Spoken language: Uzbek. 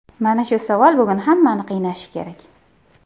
Mana shu savol bugun hammani qiynashi kerak.